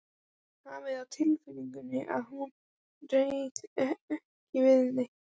Hafði á tilfinningunni að hún réði ekki við neitt.